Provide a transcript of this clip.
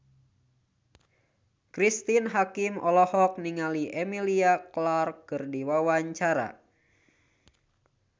Cristine Hakim olohok ningali Emilia Clarke keur diwawancara